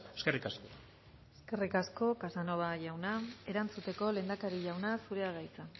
eskerrik asko eskerrik asko casanova jauna erantzuteko lehendakari jauna zurea da hitza